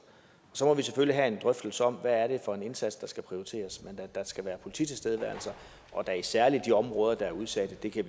så må vi selvfølgelig have en drøftelse om hvad det er for en indsats der skal prioriteres men at der skal være polititilstedeværelser og da særlig i de områder der er udsatte kan